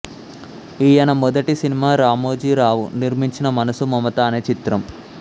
ఈయన మొదటి సినిమా రామోజీ రావు నిర్మించిన మనసు మమత అనే చిత్రం